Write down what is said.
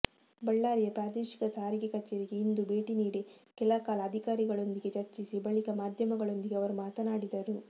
ಬಳ್ಳಾರಿಯ ಪ್ರಾದೇಶಿಕ ಸಾರಿಗೆ ಕಚೇರಿಗೆ ಇಂದು ಭೇಟಿ ನೀಡಿ ಕೆಲಕಾಲ ಅಧಿಕಾರಿಗಳೊಂದಿಗೆ ಚರ್ಚಿಸಿ ಬಳಿಕ ಮಾಧ್ಯಮಗಳೊಂದಿಗೆ ಅವರು ಮಾತನಾಡಿದರು